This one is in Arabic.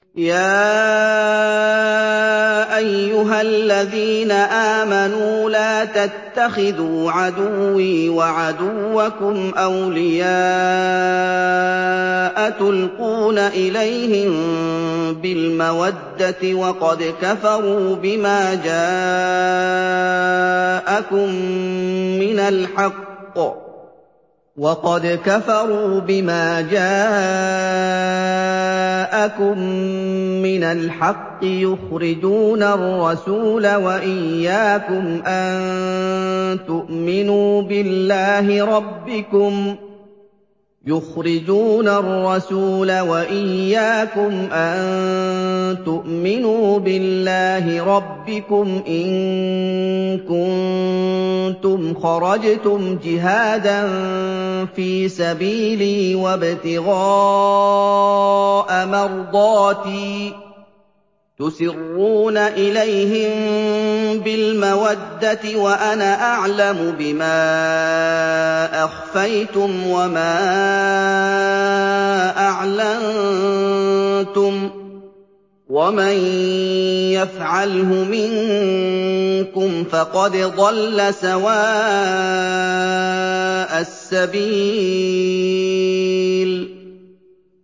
يَا أَيُّهَا الَّذِينَ آمَنُوا لَا تَتَّخِذُوا عَدُوِّي وَعَدُوَّكُمْ أَوْلِيَاءَ تُلْقُونَ إِلَيْهِم بِالْمَوَدَّةِ وَقَدْ كَفَرُوا بِمَا جَاءَكُم مِّنَ الْحَقِّ يُخْرِجُونَ الرَّسُولَ وَإِيَّاكُمْ ۙ أَن تُؤْمِنُوا بِاللَّهِ رَبِّكُمْ إِن كُنتُمْ خَرَجْتُمْ جِهَادًا فِي سَبِيلِي وَابْتِغَاءَ مَرْضَاتِي ۚ تُسِرُّونَ إِلَيْهِم بِالْمَوَدَّةِ وَأَنَا أَعْلَمُ بِمَا أَخْفَيْتُمْ وَمَا أَعْلَنتُمْ ۚ وَمَن يَفْعَلْهُ مِنكُمْ فَقَدْ ضَلَّ سَوَاءَ السَّبِيلِ